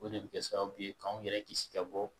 O de bɛ kɛ sababu ye k'an yɛrɛ kisi ka bɔ